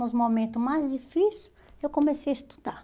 Nos momentos mais difícil, eu comecei a estudar.